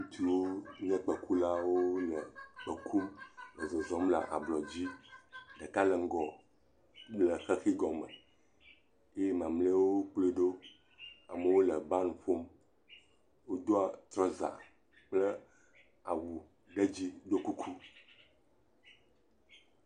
Ŋutsu nye kpekulawo le kpẽ kum le zɔzɔm le ablɔ dzi, ɖeka le ŋgɔ le xexi gɔme eye, mamleawo kplɔe ɖo, amewo le ban ƒom, wodo trɔza kple awu ɖe dzi do kuku.